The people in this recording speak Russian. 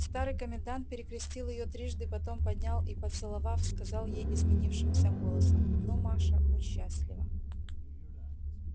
старый комендант перекрестил её трижды потом поднял и поцеловав сказал ей изменившимся голосом ну маша будь счастлива